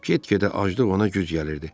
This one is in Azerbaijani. Get-gedə aclıq ona güc gəlirdi.